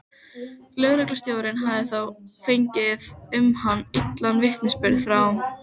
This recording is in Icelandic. Lögreglustjórinn hafði þá fengið um hann illan vitnisburð frá